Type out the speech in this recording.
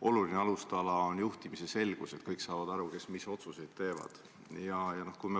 olulisi alustalasid on juhtimise selgus, st kõik saavad aru, kes mis otsuseid teevad.